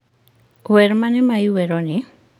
wer mane ma iweroni?